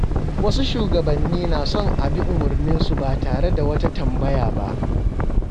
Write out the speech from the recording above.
Wasu shugabanni na son a bi umarninsu ba tare da wata tambaya ba.